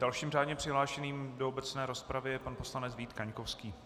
Dalším řádně přihlášeným do obecné rozpravy je pan poslanec Vít Kaňkovský.